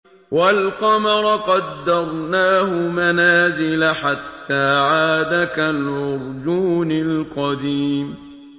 وَالْقَمَرَ قَدَّرْنَاهُ مَنَازِلَ حَتَّىٰ عَادَ كَالْعُرْجُونِ الْقَدِيمِ